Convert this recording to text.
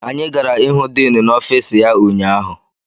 Anyị gara ịhụ diinu n'ọfiisi ya ụnyaahụ.